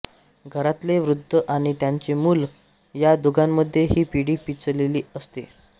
घरातले वृध्द आणि त्यांचे मुलं या दोघांमध्ये ही पिढी पिचलेली दिसते